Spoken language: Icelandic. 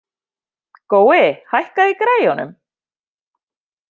Gói, hækkaðu í græjunum.